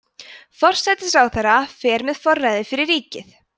forsætisráðherra fer með forræðið fyrir ríkið